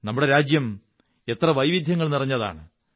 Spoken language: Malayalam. നമ്മുടെ രാജ്യം എത്ര വൈവിധ്യങ്ങൾ നിറഞ്ഞതാണ്